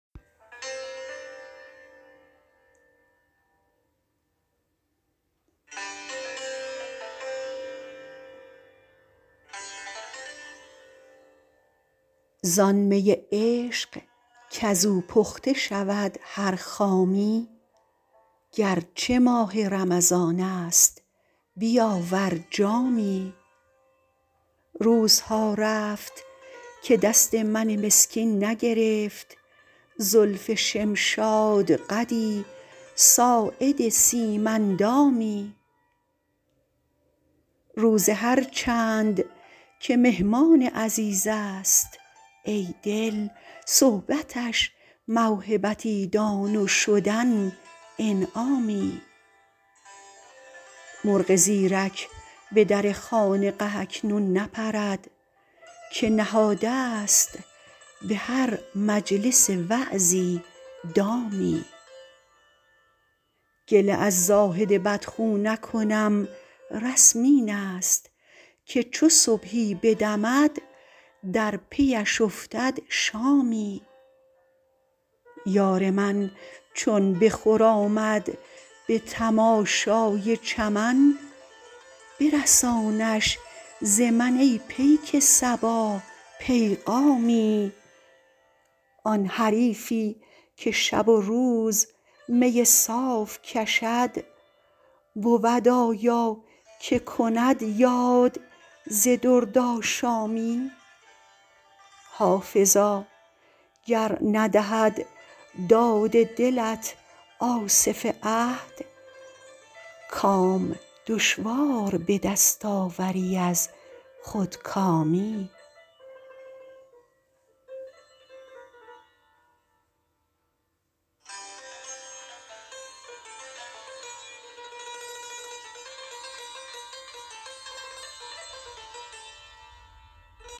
زان می عشق کز او پخته شود هر خامی گر چه ماه رمضان است بیاور جامی روزها رفت که دست من مسکین نگرفت زلف شمشادقدی ساعد سیم اندامی روزه هر چند که مهمان عزیز است ای دل صحبتش موهبتی دان و شدن انعامی مرغ زیرک به در خانقه اکنون نپرد که نهاده ست به هر مجلس وعظی دامی گله از زاهد بدخو نکنم رسم این است که چو صبحی بدمد در پی اش افتد شامی یار من چون بخرامد به تماشای چمن برسانش ز من ای پیک صبا پیغامی آن حریفی که شب و روز می صاف کشد بود آیا که کند یاد ز دردآشامی حافظا گر ندهد داد دلت آصف عهد کام دشوار به دست آوری از خودکامی